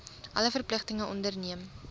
alle verpligtinge onderneem